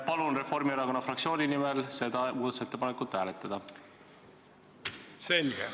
Palun Reformierakonna fraktsiooni nimel seda muudatusettepanekut hääletada!